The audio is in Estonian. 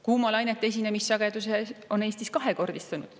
Kuumalainete esinemissagedus on Eestis kahekordistunud.